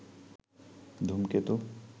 ধূমকেতু